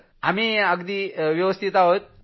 sir आम्ही अगदी व्यवस्थित आहोत